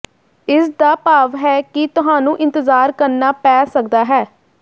ਇਸ ਦਾ ਭਾਵ ਹੈ ਕਿ ਤੁਹਾਨੂੰ ਇੰਤਜਾਰ ਕਰਨਾ ਪੈ ਸਕਦਾ ਹੈ